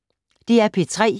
DR P3